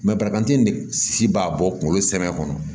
de si b'a bɔ kunkolo samiya kɔnɔ